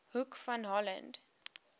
hoek van holland